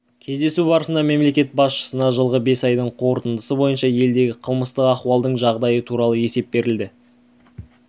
кездесу барысында мемлекет басшысына жылғы бес айдың қорытындысы бойынша елдегі қылмыстық ахуалдың жағдайы туралы есеп берілді